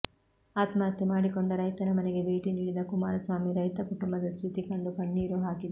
ಆತ್ಮಹತ್ಯೆ ಮಾಡಿಕೊಂಡ ರೈತನ ಮನೆಗೆ ಭೇಟಿ ನೀಡಿದ ಕುಮಾರಸ್ವಾಮಿ ರೈತ ಕುಟುಂಬದ ಸ್ಥಿತಿ ಕಂಡು ಕಣ್ಣೀರು ಹಾಕಿದರು